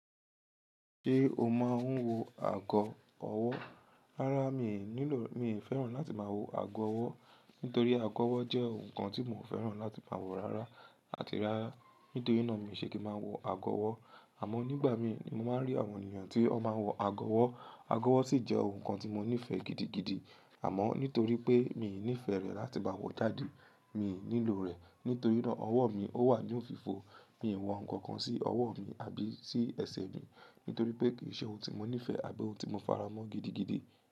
Ṣé o máa ń wọ ago ọwọ́? Rárá mi ò nílò, mi ò fẹ́ràn láti máa wọ ago ọwọ́. Nítorí ago ọwọ́ jẹ́ ohun kan tí mo fẹ́ràn láti máa wọ rara àti rárá. Nítorí náà mi ò ṣe kí máa wọ ago ọwọ́. Àmọ́ nígbà mí ni mo máa ń rí àwọn ènìyàn tí wọ́n máa ń wọ ago ọwọ́. Ago ọwọ́ sì jẹ́ ohun kan tí mo nífẹ̀ẹ́ gidigidi. Àmọ́ nítorí pé mi ò nífẹ̀ẹ́ rẹ̀ láti bá wọ jáde, mi ò nílò rẹ̀. Nítorí náà ọwọ́ mi ó wà ní òfìfo. Mi ò wọ nǹkan kan sí ọwọ́ mi àbí sí ẹsẹ̀ mi. Nítorí pé kì í ṣe ohun tí mo nífẹ̀ẹ́ àbí ohun tí mo faramọ́ gidigidi.